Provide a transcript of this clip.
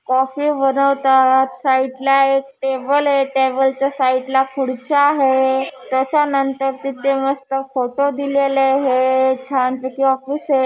Coffee बनवतात साईडला एक टेबल हे टेबलच्या साईडला खुर्च्या हे तेच्यानंतर तिथे मस्त फोटो दिलेले हे छान पैकी ऑफिस हे.